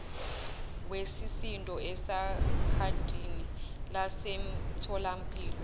wesisindo ekhadini lasemtholampilo